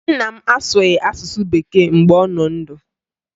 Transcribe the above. Nna m asụghị asụsụ Bekee mgbe ọ nọ ndụ